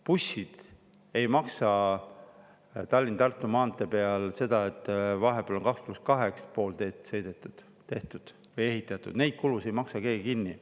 Bussid ei maksa Tallinna–Tartu maantee peal selle eest, et vahepeal on ehitatud pool teed 2 + 2, neid kulusid ei maksa keegi kinni.